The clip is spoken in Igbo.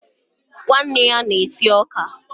nwanne ya na-esi ọka.